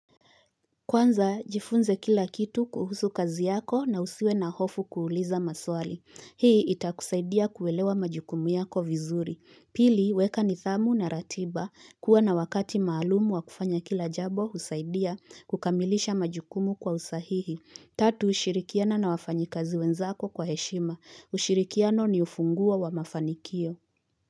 Kwanza jifunze kila kitu kuhusu kazi yako na usiwe na hofu kuuliza maswali. Hii itakusaidia kuelewa majukumu yako vizuri. Pili, weka nidhamu na ratiba. Kuwa na wakati maalumu wa kufanya kila jabo husaidia kukamilisha majukumu kwa usahihi. Tatu, shirikiana na wafanyikazi wenzako kwa heshima. Ushirikiano ni ufunguo wa mafanikio.